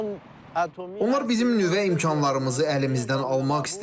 Onlar bizim nüvə imkanlarımızı əlimizdən almaq istəyirlər.